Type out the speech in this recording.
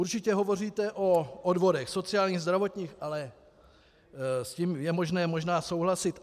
Určitě hovoříte o odvodech sociálních, zdravotních, ale s tím je možné možná souhlasit.